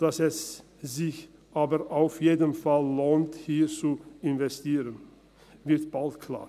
Dass es sich aber auf jeden Fall lohnt, hier zu investieren, wird bald klar.